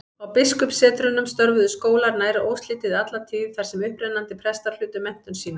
Á biskupssetrunum störfuðu skólar nær óslitið alla tíð, þar sem upprennandi prestar hlutu menntun sína.